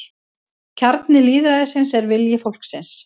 Kjarni lýðræðisins er vilji fólksins